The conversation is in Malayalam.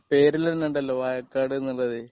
പേരിലന്നെ ഉണ്ടല്ലോ വാഴക്കാട് എന്നുള്ളതാണ്.